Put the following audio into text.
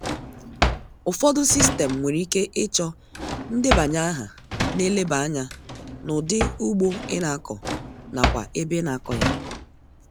Ufọdu sistem nwere ike ịchọ ndebanye aha na-eleba anya n'ụdi ugbo ị na-akọ nakwa ebe ị na-akọ ya